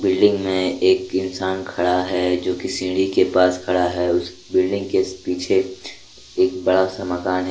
Building मे एक इंसान खड़ा है जोकि सीढ़ी के पास खड़ा है। उस बिल्डिंग के पीछे एक बड़ा सा मकान है।